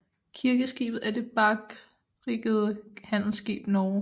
Kirkeskibet er det barkriggede handelsskib Norge